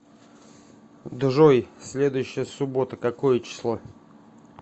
джой следующая суббота какое число